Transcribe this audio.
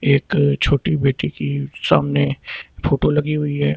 एक छोटी बेटी की सामने फोटो लगी हुई है।